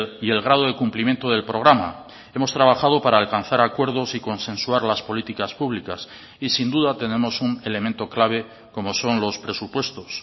y el grado de cumplimiento del programa hemos trabajado para alcanzar acuerdos y consensuar las políticas públicas y sin duda tenemos un elemento clave como son los presupuestos